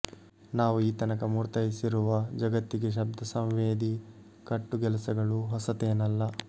ನಾವು ಈ ತನಕ ಮೂರ್ತಯಿಸಿರುವ ಜಗತ್ತಿಗೆ ಶಬ್ದಸಂವೇದಿ ಕಟ್ಟುಗೆಲಸಗಳು ಹೊಸತೇನಲ್ಲ